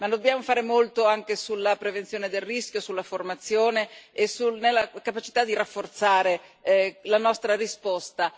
Ma dobbiamo fare molto anche sulla prevenzione del rischio, sulla formazione e sulla capacità di rafforzare la nostra risposta.